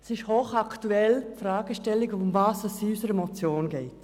Wer den Artikel liest, stellt fest, dass die Fragestellung unserer Motion hochaktuell ist.